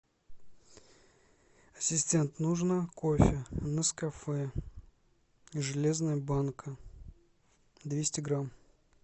ассистент нужно кофе нескафе железная банка двести грамм